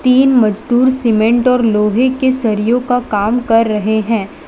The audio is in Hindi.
ये मजदूर सीमेंट और लोहे के सरियों का काम कर रहे हैं।